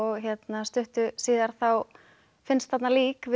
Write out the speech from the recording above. stuttu síðar þá finnst þarna lík við